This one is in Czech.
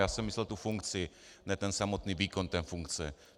Já jsem myslel tu funkci, ne ten samotný výkon té funkce.